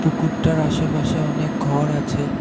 পুকুরটার আশেপাশে অনেক ঘর আছে ।